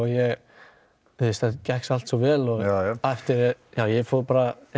þetta gekk allt svo vel ég fór bara